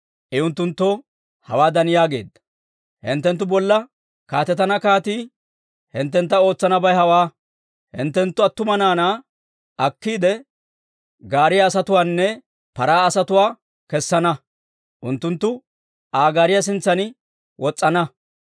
I unttunttoo hawaadan yaageedda; «Hinttenttu bolla kaatetana kaatii hinttentta ootsanabay hawaa: hinttenttu attuma naanaa akkiide, gaariyaa asatuwaanne paraa asatuwaa kessana; unttunttu Aa gaariyaa sintsan wos's'ana.